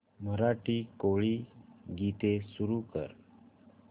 मराठी कोळी गीते सुरू कर